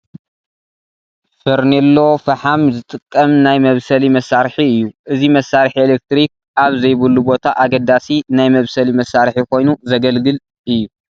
ፈርኔሎ ፍሓም ዝጥቀም ናይ መብሰሊ መሳርሒ እዩ፡፡ እዚ መሳርሒ ኤለክትሪክ ኣብ ዘይብሉ ቦታ ኣገዳሲ ናይ መብሰሊ መሳርሒ ኮይኑ ዘግልግል እዩ፡፡